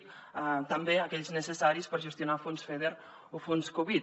també aquells necessaris per gestionar el fons feder o fons covid